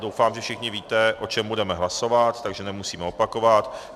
Doufám, že všichni víte, o čem budeme hlasovat, takže nemusíme opakovat.